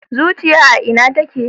Zuciya a Ina take